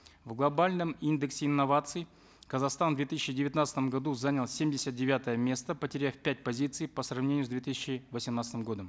в глобальном индексе инноваций казахстан в две тысячи девятнадцатом году занял семьдесят девятое место потеряв пять позиций по сравнению с две тысячи восемнадцатым годом